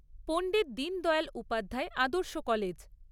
Pandit Deendayal Upadhyay Adarsh college